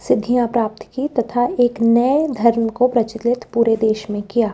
सिद्धियां प्राप्त की तथा एक नए धर्म को प्रचलित पूरे देश में किया--